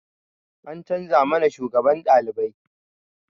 An canza mana shugaban ɗalibai